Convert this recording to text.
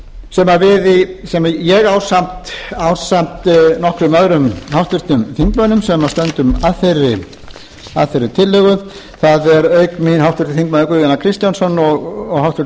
þessum fjáraukalögum sem ég ásamt nokkrum öðrum háttvirtum þingmönnum sem stöndum að þessari tillögu það eru auk mín háttvirtir þingmenn guðjón a kristjánsson háttvirtur